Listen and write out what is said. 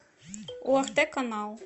орт канал